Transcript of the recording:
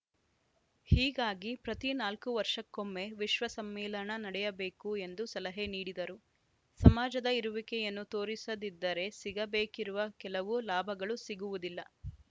ಹೀಗಾಗಿ ಪ್ರತಿ ನಾಲ್ಕು ವರ್ಷಕ್ಕೊಮ್ಮೆ ವಿಶ್ವ ಸಮ್ಮೇಳನ ನಡೆಯಬೇಕು ಎಂದು ಸಲಹೆ ನೀಡಿದರು ಸಮಾಜದ ಇರುವಿಕೆಯನ್ನು ತೋರಿಸದಿದ್ದರೆ ಸಿಗಬೇಕಿರುವ ಕೆಲವು ಲಾಭಗಳು ಸಿಗುವುದಿಲ್ಲ